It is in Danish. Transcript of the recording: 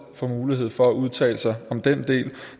får mulighed for at udtale sig om den del